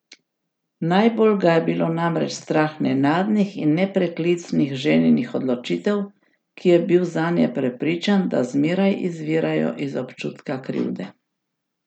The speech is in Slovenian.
Najbolj ga je bilo namreč strah nenadnih in nepreklicnih ženinih odločitev, ki je bil zanje prepričan, da zmeraj izvirajo iz občutka krivde.